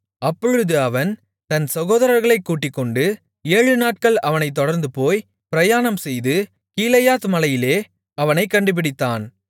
அப்பொழுது அவன் தன் சகோதரர்களைக் கூட்டிக்கொண்டு ஏழுநாட்கள் அவனைத் தொடர்ந்துபோய் பிரயாணம் செய்து கீலேயாத் மலையிலே அவனைக் கண்டுபிடித்தான்